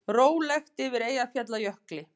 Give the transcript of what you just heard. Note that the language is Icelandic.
Rólegt yfir Eyjafjallajökli